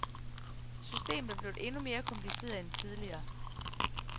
Systemet er blevet endnu mere kompliceret end tidligere.